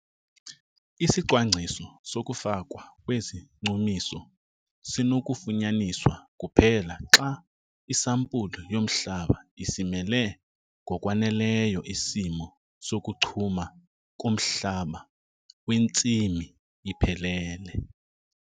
Isicwangciso sokufakwa kwezichumiso sinokufunyaniswa kuphela xa isampulu yomhlaba isimele ngokwaneleyo isimo sokuchuma komhlaba wentsimi iphelele.